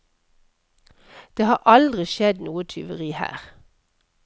Det har aldri skjedd noe tyveri her.